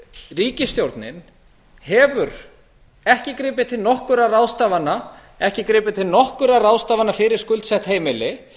ríkisstjórnin hefur ekki gripið til nokkurra ráðstafana ekki gripið til nokkurra ráðstafana fyrir skuldsett heimili